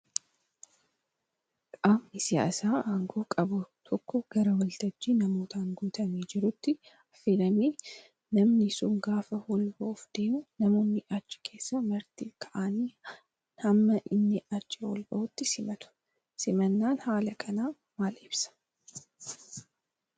Qaamni siyaasaa aangoo qabu tokko gara waltajjii namootaan guutamee jiruutti affeelamee namni sun gaafa ol bahuuf deemuu namoonni achi keessaa Marti kaa'anii hamma inni achii ol bahutti simatu. Simannaan haala kanaa maal ibsaa?